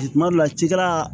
Tuma dɔ la cikɛla